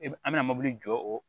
E b an bɛna mobili jɔ o